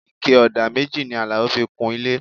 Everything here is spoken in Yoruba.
Ike ọ̀dà méjì ni Alao fi kun ilé